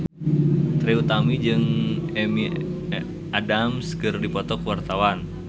Trie Utami jeung Amy Adams keur dipoto ku wartawan